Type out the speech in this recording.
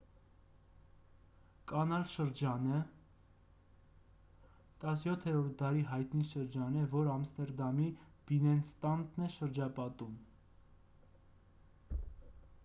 կանալ շրջանը հոլանդերեն` գրախտենգորդել 17-րդ դարի հայտնի շրջան է որն ամստերդամի բիննենստադն է շրջապատում: